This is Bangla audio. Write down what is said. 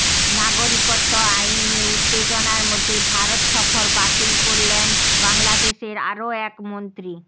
নাগরিকত্ব আইন নিয়ে উত্তেজনার মধ্যে ভারত সফর বাতিল করলেন বাংলাদেশের আরও এক মন্ত্রী